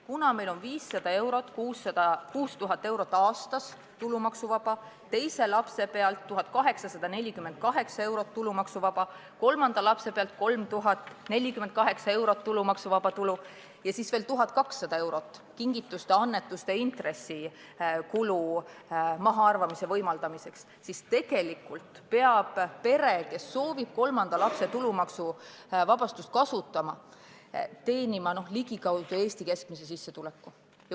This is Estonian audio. Kuna meil on 500 eurot kuus ja 6000 eurot aastas tulumaksuvaba, teise lapse pealt on 1848 eurot tulumaksuvaba, kolmanda lapse pealt on 3048 eurot tulumaksuvaba ja siis on veel 1200 eurot kingituste, annetuste ja intressikulu mahaarvamise võimaldamiseks, siis tegelikult peab pere, kes soovib kolmanda lapse tulumaksuvabastust kasutada, teenima ligikaudu Eesti keskmist sissetulekut.